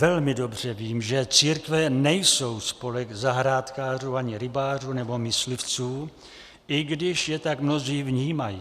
Velmi dobře vím, že církve nejsou spolek zahrádkářů ani rybářů nebo myslivců, i když je tak mnozí vnímají.